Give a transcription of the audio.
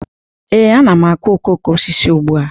Ee, ana m akụ okoko osisi ugbu a